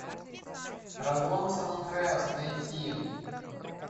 разлом сан андреас найти